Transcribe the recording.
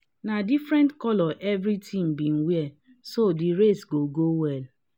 na different colors every team been wear so the race go go well